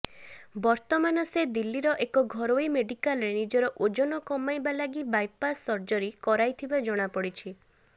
ବର୍ତ୍ତମାନ ସେ ଦିଲ୍ଲୀର ଏକ ଘରୋଇ ମେଡିକାଲରେ ନିଜର ଓଜନ କମାଇବା ଲାଗି ବାଇପାସ ସର୍ଜରି କରାଇଥିବା ଜଣାପଡିଛି